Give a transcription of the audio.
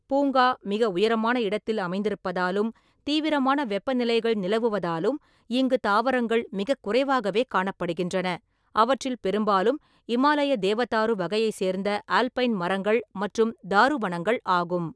பூங்கா மிக உயரமான இடத்தில் அமைந்திருப்பதாலும் தீவிரமான வெப்பநிலைகள் நிலவுவதாலும் இங்கு தாவரங்கள் மிகக் குறைவாகவே காணப்படுகின்றன, அவற்றில் பெரும்பாலும் இமாலய தேவதாரு வகையைச் சேர்ந்த ஆல்பைன் மரங்கள் மற்றும் தாருவனங்கள் ஆகும்.